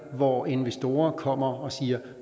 hvor investorer kommer og siger